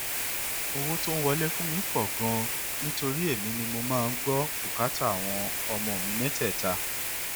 owó tó ń wọlé fún mi tún pọ ganan nítorí èmi ni mo máa ń gbọ bùkátà àwọn ọmọ mi mẹtẹẹta